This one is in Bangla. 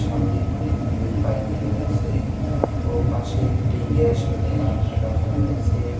সামনে অনেকগুলি বাইক রয়েছে ও পাশে একটি গ্যাস লা-রাখা রয়েছে।